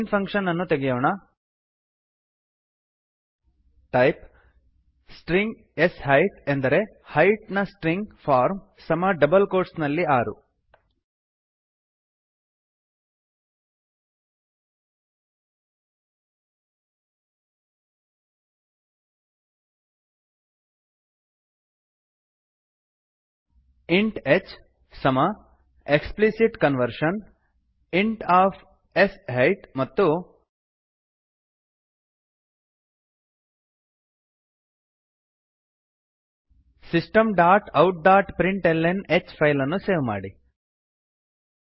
main function ಅನ್ನು ತೆಗೆಯೋಣ type string s height ಅಂದರೆ ಹೈಟ್ ನ ಸ್ಟ್ರಿಂಗ್ ಫಾರ್ಮ್ ಸಮ ಡಬಲ್ ಕೋಟ್ಸ್ ನಲ್ಲಿ ೬ ಆರು ಇಂಟ್ hಇಂಟ್ ಹೆಚ್ ಸಮ explicit conversion explicit conversion int of sheet int of s height ಮತ್ತು Systemoutprintlnಹೆಚ್ system dot out dot println h ಫೈಲನ್ನು ಸೇವ್ ಮಾಡಿ